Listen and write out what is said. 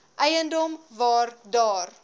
eiendom waar daar